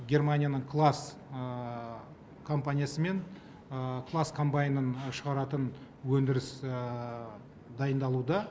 германияның класс компаниясымен класс комбайнын шығаратын өндіріс дайындалуда